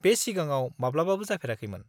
बे सिगाङाव माब्लाबाबो जाफेराखैमोन।